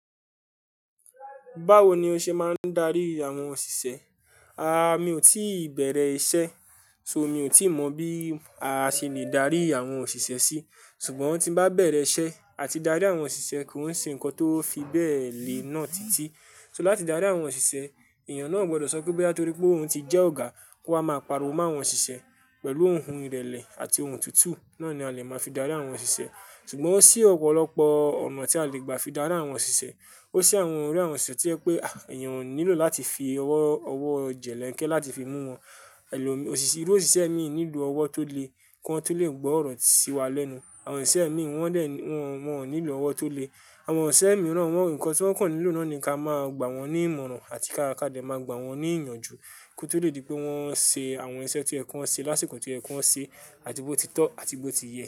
Báwo ni o ṣe máa ń darí àwọn òṣìṣẹ́? Àáà, mi ò tí ì bẹ̀rẹ̀ iṣẹ́, so mi ò tí mọ̀ bí a ṣe le darí àwọn òṣìṣẹ́ sí. Ṣùgbọ́n tí bá bẹ̀rẹ̀ iṣẹ́ àti darí àwọn òṣìṣẹ́ ko ṣe nǹkan tó fi bẹ́ẹ̀ lè ná titi. So láti darí àwọn òṣìṣẹ́, èèyàn náà o gbọ́dọ̀ sọ pé boya torí pé òun ti jẹ́ ọ̀gá kó wa máa pariwo mó àwọn òṣìṣẹ́ pẹ̀lú ohùn ìrẹ̀lẹ̀ àti ohùn tutu. Náà ni a lè máa fi darí àwọn òṣìṣẹ́. Ṣùgbọ́n ó ṣí ọ̀pọ̀lọpọ̀ ọ̀nà tí a lè gbà fi darí àwọn òṣìṣẹ́. Ó ṣí àwọn irú àwọn òṣìṣẹ́ to yẹ pé àh, èèyàn o nílò láti fi ọwọ́, ọwọ́ jẹ̀ lẹ́nkẹ́ láti fi mú wọn. Ẹ̀lò mi, iru òṣìṣẹ́ mi nílò ọwọ́ tó le, kí wọn tó lè gbọ́ ọ̀rọ̀ sí wa lẹ́nu. Àwọn òṣìṣẹ́ mi wọ́n dè, wọ́n, wọ́n ò nílò ọwọ́ tó le. Àwọn òṣìṣẹ́ mìíràn wọ́n nǹkan tí wọ́n kàn nílò náà ni ká máa gbà wọ́n ní ìmọ̀ràn àti ká ka de máa gbà wọ́n ní ìyànjú kó tó lè di pé wọ́n ń ṣe àwọn iṣẹ́ to yẹ kó wọn ṣe, lásìkò to yẹ kó wọn ṣe àti bó ti tọ́ àti bó ti yẹ.